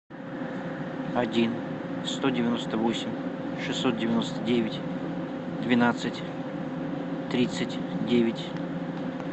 один сто девяносто восемь шестьсот девяносто девять двенадцать тридцать девять